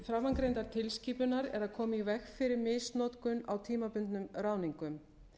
framangreindar tilskipunar er að koma í veg fyrir misnotkun á tímabundnum ráðningum